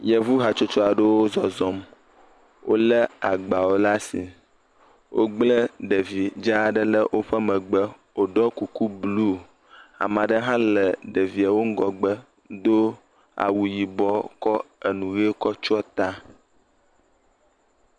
Yevu hatsotso aɖewo zɔzɔm, wolé agbawo le asi, wogble ɖevi dza aɖe le megbe, wòɖɔ kuku blu. Ame aɖe hã le ɖevie wo ŋgɔgbe, do awu yibɔ, kɔ enu ʋe kɔ tsyɔ ta.